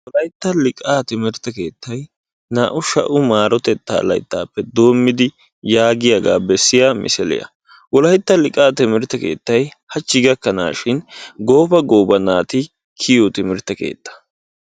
wollaytta liqaa timirtta keettay naa"u shaa"u marottettaa layttaappe doommidi yaagiyaaga bessiyaa misiliyaa. Wollaytta liqaa timirtte keettay haachchi gakkaanashin gooba gooba naati kiyiyoo timirtte keettaa.